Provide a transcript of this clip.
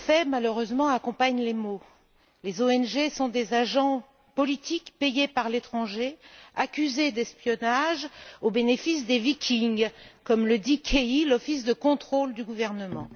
Malheureusement, les faits accompagnent les mots les ONG sont des agents politiques payés par l'étranger, accusés d'espionnage au bénéfice des Vikings, comme le dit Kehi, l'office de contrôle du gouvernement.